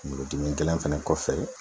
Kungolo dimi gɛlɛn fɛnɛ kɔfɛ